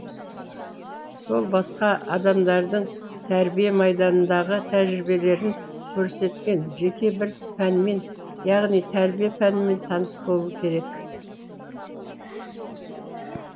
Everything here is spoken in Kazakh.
сол басқа адамдардың тәрбие майданындағы тәжірибелерін көрсеткен жеке бір пәнмен яғни тәрбие пәнімен таныс болу керек